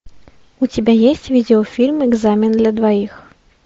у тебя есть видеофильм экзамен для двоих